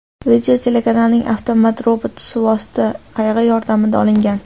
Video telekanalning avtomat-robot suvosti qayig‘i yordamida olingan.